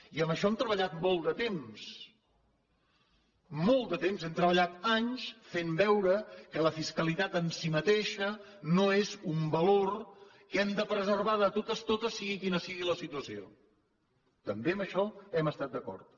i en això hem treballat molt de temps molt de temps hem treballat anys fent veure que la fiscalitat en si mateixa no és un valor que hem de preservar de totes totes sigui quina sigui la situació també en això hem estat d’acord